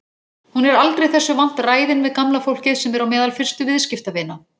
Hún er aldrei þessu vant ræðin við gamla fólkið sem er á meðal fyrstu viðskiptavina.